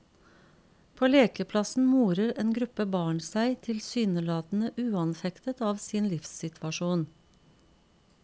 På lekeplassen morer en gruppe barn seg tilsynelatende uanfektet av sin livssituasjon.